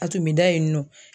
A tun be da yen nɔ.